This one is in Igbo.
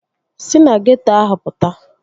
Sị na geeto ahụ pụta